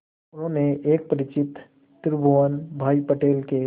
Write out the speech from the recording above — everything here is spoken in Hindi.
उन्होंने एक परिचित त्रिभुवन भाई पटेल के